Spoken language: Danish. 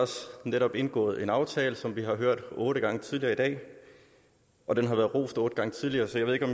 netop indgået en aftale som vi har hørt om otte gange tidligere i dag og den har været rost otte gange tidligere så jeg ved ikke